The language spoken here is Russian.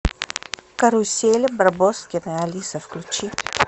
карусель барбоскины алиса включи